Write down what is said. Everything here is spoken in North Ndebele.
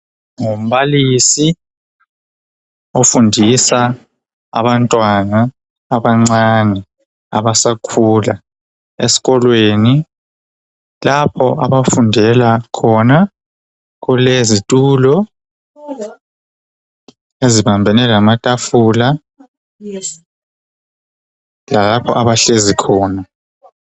Ngumbalisi ofundisa abantwana abancane abasakhula esikolweni .Lapho abafundela khona kulezitulo ezibambene lamatafula .Lalapho abahlezi khona .